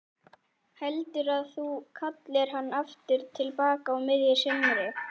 Heldurðu að þú kallir hann aftur til baka á miðju sumri?